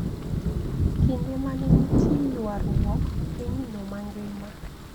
Kinde ma ne nitie yuaruok pinyno mangima